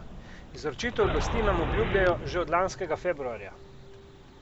Izročitev oblasti nam obljubljajo že od lanskega februarja.